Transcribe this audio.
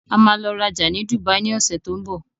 A máa lọ rajà ní Dùbàí ní ọsẹ̀ tó ń bọ̀.